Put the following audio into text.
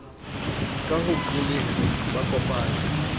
ka ho qolleha ba kopanye